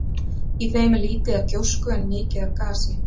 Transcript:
Í þeim er lítið af gjósku en mikið af gasi.